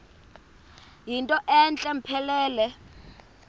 yinto entle mpelele